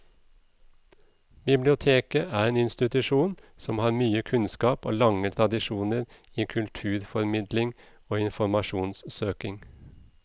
Biblioteket er en institusjon som har mye kunnskap og lange tradisjoner i kulturformidling og informasjonssøking.